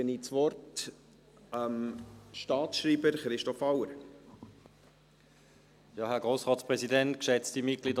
Dann gebe ich das Wort dem Staatsschreiber Christoph Auer.